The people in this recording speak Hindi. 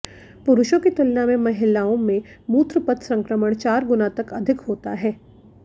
पुरुषों की तुलना में महिलाओं में मूत्र पथ संक्रमण चार गुना तक अधिक होता है